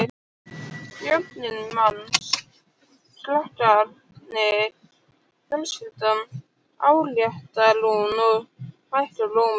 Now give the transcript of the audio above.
Börnin manns, krakkarnir, fjölskyldan, áréttar hún og hækkar róminn.